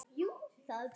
Ég leit niður.